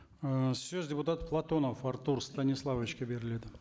ыыы сөз депутат платонов артур станиславовичке беріледі